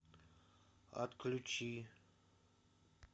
отключи